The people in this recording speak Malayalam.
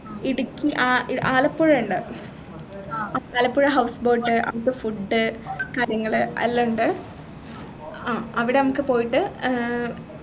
ഇടുക്കി ആ ആലപ്പുഴയിൻഡ് ആലപ്പുഴ house boat അവിടത്തെ food കാര്യങ്ങള് എല്ലാം ഉണ്ട് ആഹ് അവിടെ നമുക്ക് പോയിട്ട് ഏർ